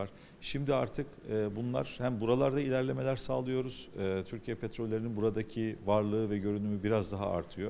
İndi artıq eee bunlar həm buralarda irəliləyişlər təmin edirik, eee Türkiyə Petrollarının buradakı varlığı və görünümü bir az daha artır.